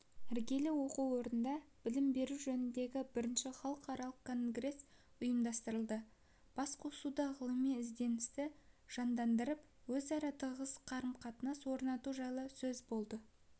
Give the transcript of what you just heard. іргелі оқу орнында білім беру жөніндегі бірінші халықаралық конгресс ұйымдастырылды басқосуда ғылыми ізденісті жандандырып өзара тығыз қарым-қатынас орнату жайы сөз болды